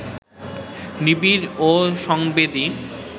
নিবিড় ও সংবেদী